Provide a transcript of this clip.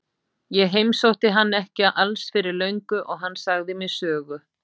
Ég heimsótti hann ekki alls fyrir löngu og hann sagði mér sögu.